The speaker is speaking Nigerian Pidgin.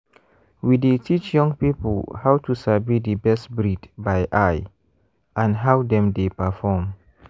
we dey teach young people how to sabi the best breed by eye and how dem dey perform.